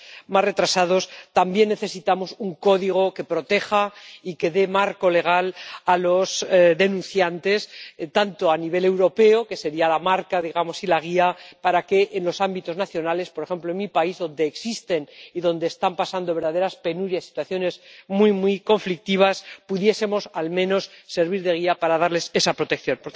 más retrasados—, también necesitamos un código que proteja y que dé marco legal a los denunciantes a nivel europeo, que sería la marca y la guía para que, en los ámbitos nacionales —por ejemplo en mi país, donde existen y donde están pasando verdaderas penurias y situaciones muy, muy conflictivas—, pudiésemos al menos servir de guía para darles esa protección.